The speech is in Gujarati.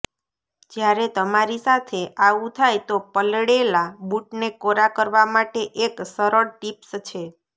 જ્યારે તમારી સાથે આવું થાય તો પલળેલા બૂટને કોરા કરવા માટે એક સરળ ટીપ્સ છે